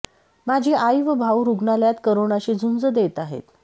माझी आई व भाऊ रुग्णालयात करोनाशी झुंज देत आहेत